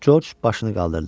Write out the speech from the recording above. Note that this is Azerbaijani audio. Corc başını qaldırdı.